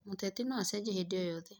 Mũteti no acenjie hĩndĩ o yothe.